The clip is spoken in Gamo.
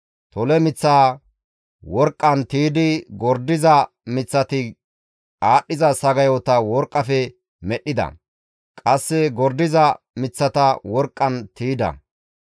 Tole miththaa worqqan tiydi gordiza miththati aadhdhiza sagayota worqqafe medhdhida; qasse gordiza miththata worqqan tiyda.